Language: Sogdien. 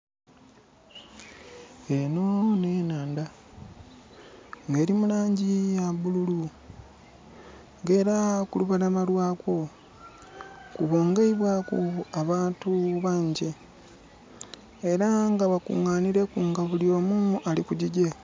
Enho nh'enhandha nga eli mu laangi ya bululu. Nga era ku lubalama lwa ko, kubungibwaku abantu bangyi. Era nga bakunganhileku nga bulyomu ali ku gigye.